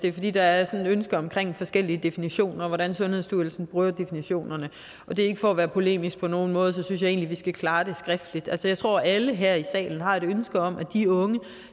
det er fordi der er et ønske om forskellige definitioner af hvordan sundhedsstyrelsen bruger definitionerne og det er ikke for at være polemisk på nogen måde så synes jeg egentlig skal klare det skriftligt jeg tror alle her i salen har et ønske om at de unge